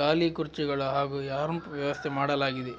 ಗಾಲಿ ಕುರ್ಚಿಗಳ ಹಾಗೂ ರ್ಯಾಂಪ್ ವ್ಯವಸ್ಥೆ ಮಾಡಲಾಗಿದೆ